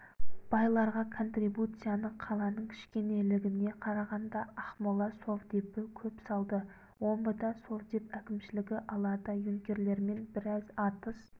байларға контрибуцияны қаланың кішкенелігіне қарағанда ақмола совдепі көп салды омбыда совдеп әкімшілігі аларда юнкерлермен біраз атыс